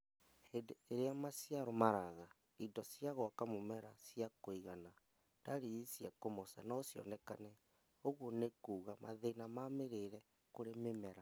Hĩndĩ ĩrĩa maciaro maraga indo cia gwaka mũmera cia kũigana, ndariri cia kũmoca nocionekane ũguo nĩkuga mathĩna ma mĩrĩre kũrĩ mĩmera